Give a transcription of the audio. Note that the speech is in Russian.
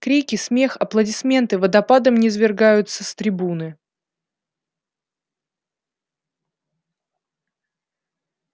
крики смех аплодисменты водопадом низвергаются с трибуны